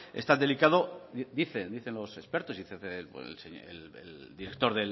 es tan delicado dicen los expertos dice el director